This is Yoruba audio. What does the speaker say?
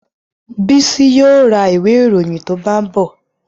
Bísí yóò ra ìwé ìròyìn tó bá ń bọ̀